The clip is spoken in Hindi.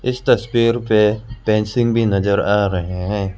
इस तस्वीर पे फेंसिंग भी नजर आ रहे हैं।